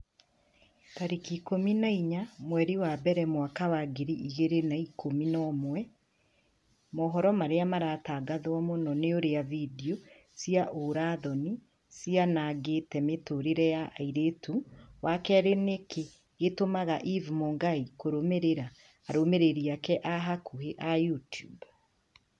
tarĩki ikũmi na inya mweri wa mbere mwaka wa ngiri igĩrĩ na ikũmi na ĩmwe mohoro marĩa maratangatwo mũno ni ũrĩa findio cia ũũra-thoni cianangĩte mĩtũrĩre ya airĩtu wa kerĩ nĩkĩĩ gĩtũmaga eve mũngai kũrũmĩrĩra arũmĩrĩri ake a hakuhi a YouTUBE